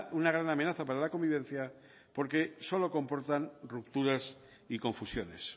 una gran amenaza para la convivencia porque solo comportan rupturas y confusiones